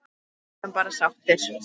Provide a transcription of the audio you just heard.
Við erum bara sáttir.